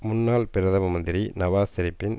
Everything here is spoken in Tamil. முன்னாள் பிரதம மந்திரி நவாஸ் ஷெரீப்பின்